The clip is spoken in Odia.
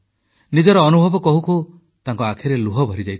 ନିଜର ଅନୁଭବ କହୁ କହୁ ତାଙ୍କ ଆଖିରେ ଲୁହ ଭରିଯାଇଥିଲା